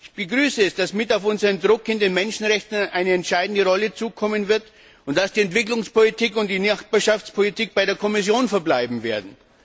Ich begrüße es, dass mit auf unseren Druck hin den Menschenrechten eine entscheidende Rolle zukommen wird und dass die Entwicklungspolitik und die Nachbarschaftspolitik bei der Kommission verbleiben werden.